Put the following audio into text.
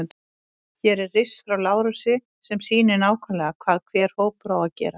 Hér er riss frá Lárusi sem sýnir nákvæmlega hvað hver hópur á að gera.